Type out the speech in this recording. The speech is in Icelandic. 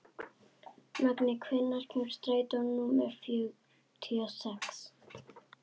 Magney, hvenær kemur strætó númer fjörutíu og sex?